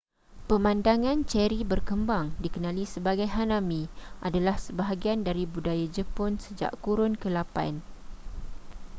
pemandangan ceri berkembang dikenali sebagai hanami adalah sebahagian dari budaya jepun sejak kurun ke8